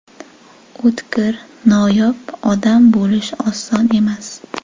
O‘tkir, noyob odam bo‘lish oson emas.